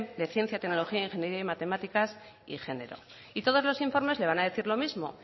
de ciencia tecnología ingeniería y matemáticas y género y todos los informes le van a decir lo mismo